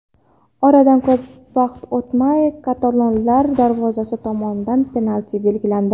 Oradan ko‘p vaqt o‘tmay katalonlar darvozasi tomon penalti belgilandi.